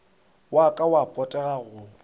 wa ka wa potego go